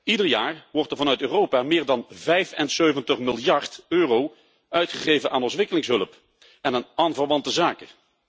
Ieder jaar wordt er vanuit Europa meer dan 75 miljard euro uitgegeven aan ontwikkelingshulp en aan aanverwante zaken.